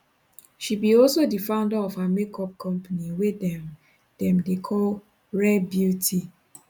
she be also di founder of her make up company wey dem dem dey call rare beauty